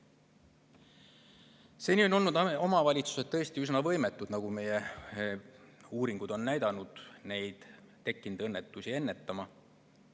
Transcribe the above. Seni on omavalitsused, nagu meie uuringud on näidanud, tõesti olnud üsna võimetud tekkinud õnnetusi ära hoidma.